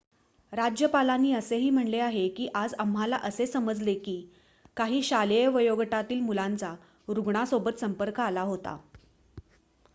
"राज्यपालांनी असेही म्हटले आहे की "आज आम्हाला असे समजले आहे की काही शालेय वयोगटातील मुलांचा रुग्णासोबत संपर्क आला होता.""